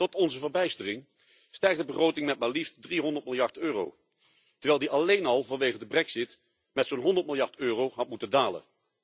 Tot onze verbijstering stijgt de begroting met maar liefst 300 miljard euro, terwijl die alleen al vanwege de brexit met zo'n 100 miljard euro had moeten dalen.